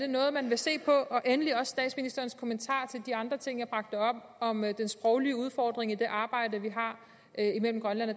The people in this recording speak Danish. noget man vil se på endelig statsministerens kommentar til de andre ting jeg bragte op om den sproglige udfordring i det arbejde vi har mellem grønland og